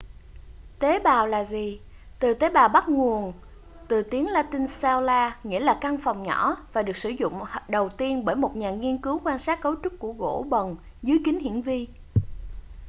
tế bào là gì từ tế bào bắt nguồn từ tiếng la-tinh cella nghĩa là căn phòng nhỏ và được sử dụng đầu tiên bởi một nhà nghiên cứu quan sát cấu trúc của gỗ bần dưới kính hiển vi